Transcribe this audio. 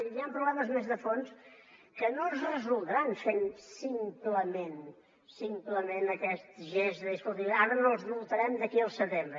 hi ha problemes més de fons que no es resoldran fent simplement simplement aquest gest de dir escolti ara no els multarem d’aquí al setembre